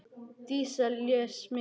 Dísa les mikið.